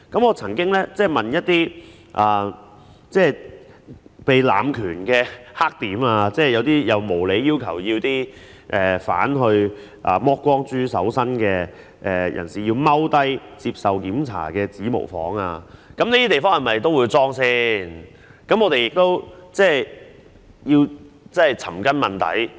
我曾經就一些濫權的"黑點"提問，例如無理地要求犯人"剝光豬"搜身並蹲下來接受檢查的指模房，在這些地方是否也會安裝閉路電視？